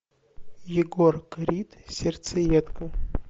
егор крид серцеедка